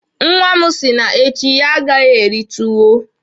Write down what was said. Nwa m si n'echi ya agaghi eri tuwo